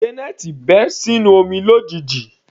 Janet bẹ́ sínú omi lójijì.